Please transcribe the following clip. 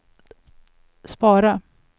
spara